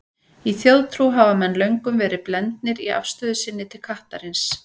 Í þjóðtrú hafa menn löngum verið blendnir í afstöðu sinni til kattarins.